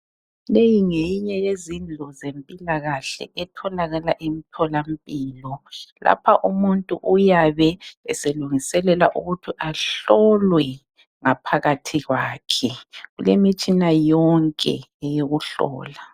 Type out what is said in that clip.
Leyi ngeyinye yezindlu zempilakahle etholakala emtholampilo. Lapha umuntu uyabe eselungiselela ukuthi ahlolwe ngaphakathi kwakhe. Kulemitshina yonke eyokuhlola.